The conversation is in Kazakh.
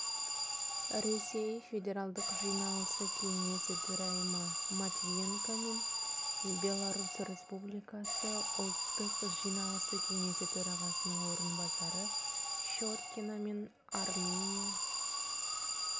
ресей федералдық жиналысы кеңесі төрайымы матвиенкомен беларусь республикасы ұлттық жиналысы кеңесі төрағасының орынбасары щеткинамен армения